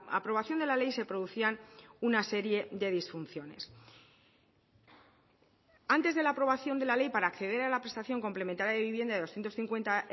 aprobación de la ley se producían una serie de disfunciones antes de la aprobación de la ley para acceder a la prestación complementaria de vivienda de doscientos cincuenta